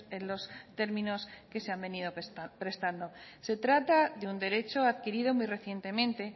en los términos que se han venido prestando se trata de un derecho adquirido muy recientemente